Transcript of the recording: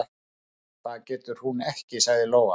"""Það getur hún ekki, sagði Lóa."""